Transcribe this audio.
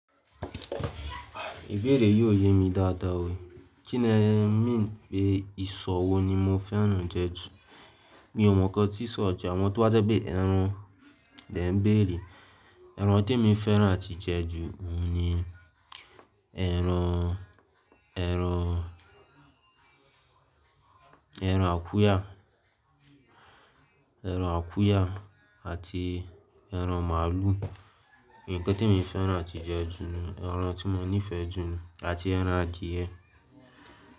Ibèèré yóò yé mi dáadáa o. Kí ni ẹ́ mean pé ìsọ̀ wo ni mo fẹ́ràn oúnjẹ jù? Mi ò mọ̀ ikàn tí ìsọ̀ jẹ, àwọn tí o ba jẹ́ pé ẹran ni e bẹ̀rẹ́. Ẹran tí mo fẹ́ràn àti jẹ jù ohun ni ẹran, ẹran, ẹran akuya, ẹran akuya àti ẹran màálù. Ǹkan tí emi fẹ́ràn àti jẹ jù ni, ẹran tí mo nífẹ̀ẹ́ jù ni àti ẹran adìẹ.